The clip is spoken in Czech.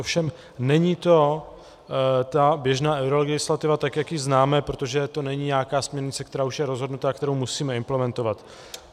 Ovšem není to ta běžná eurolegislativa, tak jak ji známe, protože to není nějaká směrnice, která už je rozhodnuta a kterou musíme implementovat.